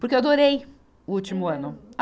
Porque eu adorei o último ano. a